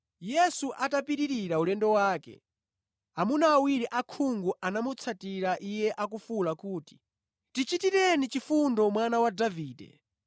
Yesu atapitirira ulendo wake, amuna awiri osaona anamutsatira Iye, akufuwula kuti, “Tichitireni chifundo, Mwana wa Davide!”